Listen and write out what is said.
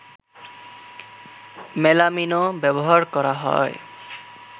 মেলামিনও ব্যবহার করা হয়